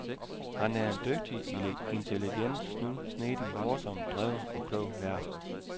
Han er en dygtig, intelligent, snu, snedig, morsom, dreven, klog vært.